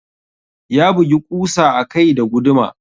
Ya bugi ƙusa a kai da guduma.